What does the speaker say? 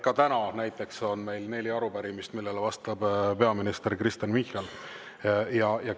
Ka täna näiteks on meil neli arupärimist, millele vastab peaminister Kristen Michal.